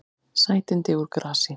Sætindi úr grasi